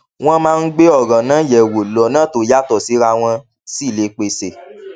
wón máa ń gbé òràn náà yè wò lónà tó yàtò síra wón sì lè pèsè